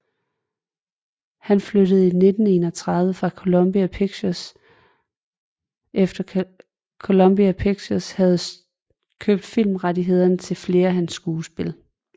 Han flyttede i 1931 efter Columbia Pictures havde købt filmrettighederne til flere af hans skuespil